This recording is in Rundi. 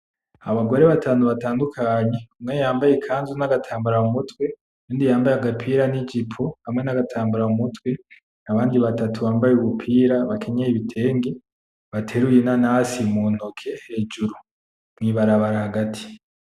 Abagore batantu batandukanye, umwe yambaye ikanzu na gatambara mu mutwe undi yambaye agapira ni jipo hamwe na gatambara mu mutwe, abandi batatu bambaye ubupira bakenyeye ibitenge. Bateruye inanasi mu ntoke hejuru mwi barabara hagati.